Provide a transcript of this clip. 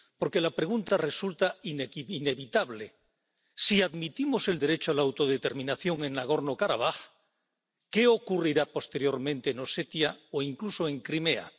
Porque la pregunta resulta inevitable si admitimos el derecho a la autodeterminación en Nagorno Karabaj, ¿qué ocurrirá posteriormente en Osetia o incluso en Crimea?